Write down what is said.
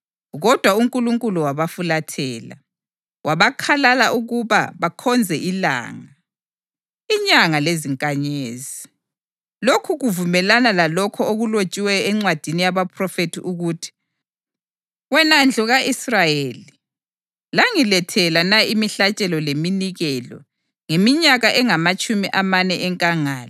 Kodwa uNkulunkulu wabafulathela, wabakhalala ukuba bakhonze ilanga, inyanga lezinkanyezi. Lokhu kuvumelana lalokho okulotshiweyo encwadini yabaphrofethi ukuthi: ‘Wena ndlu ka-Israyeli, langilethela na imihlatshelo leminikelo ngeminyaka engamatshumi amane enkangala?